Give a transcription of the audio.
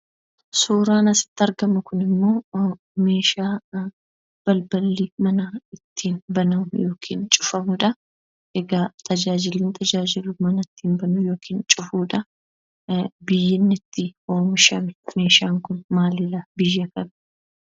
Suuraan asitti argamu ammo meeshaa balballi manaa ittiin banamu yookaan cufamudha. Tajaajilli inni tajaajilu mana banuu yookaan cufuudha. Biyyi meeshaan kun itti oomishame biyya kami?